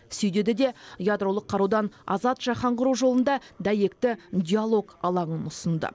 сүй деді де ядролық қарудан азат жаһан құру жолында дәйекті диалог алаңын ұсынды